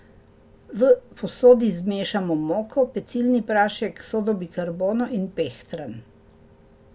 V posodi zmešamo moko, pecilni prašek, sodo bikarbono in pehtran.